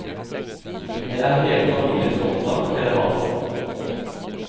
Det er hele familien stolt av, forteller han.